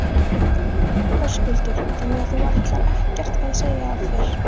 Höskuldur: Þannig að þú ætlar ekkert að segja af þér?